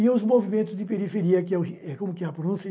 e os movimentos de periferia, que é como que é a pronúncia?